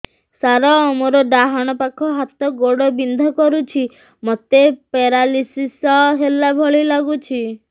ସାର ମୋର ଡାହାଣ ପାଖ ହାତ ଗୋଡ଼ ବିନ୍ଧା କରୁଛି ମୋତେ ପେରାଲିଶିଶ ହେଲା ଭଳି ଲାଗୁଛି